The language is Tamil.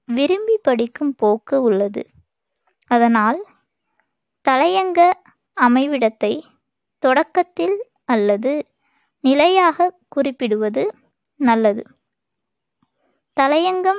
விரும்பி படிக்கும் போக்கு உள்ளது. அதனால் தலையங்க அமைவிடத்தைத் தொடக்கத்தில் அல்லது நிலையாகக் குறிப்பிடுவது நல்லது. தலையங்கம்